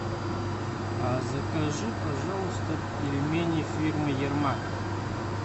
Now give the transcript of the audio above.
а закажи пожалуйста пельмени фирмы ермак